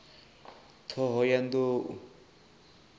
ṱhohoyanḓou